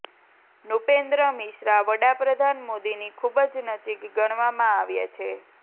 નૃપેન્દ્ર મિશ્રા વડાપ્રધાન મોદીની ખૂબ જ નજીક ગણવામાં આવે છે